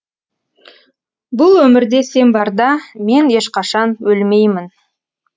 бұл өмірде сен барда мен ешқашан өлмеймін